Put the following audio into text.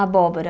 Abóbora.